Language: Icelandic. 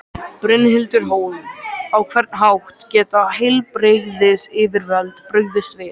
Brynhildur Hólm: Á hvern hátt geta heilbrigðisyfirvöld brugðist við?